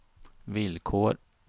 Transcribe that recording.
villkor